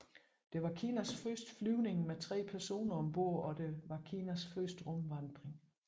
Det er Kinas første flyvning med tre personer om bord og var Kinas første rumvandring